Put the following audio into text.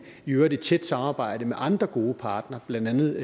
i øvrigt i tæt samarbejde med andre gode parter blandt andet